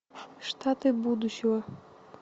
штаты будущего